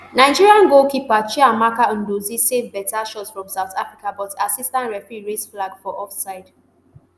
nigeria goalkeeper chiamaka nnadozie save beta shot from south africa but assistant referee raise flag for offside